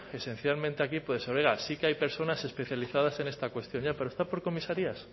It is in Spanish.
esencialmente aquí puede ser oiga sí que hay personas especializadas en esta cuestión ya pero está por comisarías